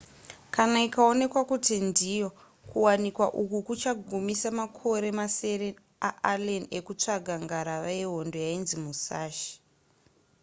kana ikaonekwa kuti ndiyo kuwanikwa uku kuchagumisa makore masere aallen ekusvaga ngarava yehondo yainzi musashi